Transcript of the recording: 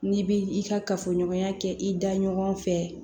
N'i bi i ka kafoɲɔgɔnya kɛ i da ɲɔgɔn fɛ